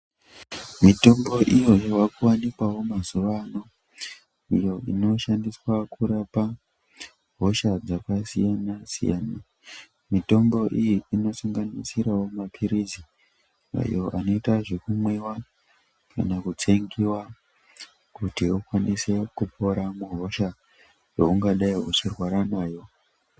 Mitombo iyo yavakuwanikwawo mazuwa ano iyo inoshandiswa kurapa hosha dzakasiyana siyana mitombo iyo inosanganisirawo mapilizi ayo anoita zvekumwiwa kana kutsengiwa kuti akwanise kuporauhosha yaungadai uchirwara nayo.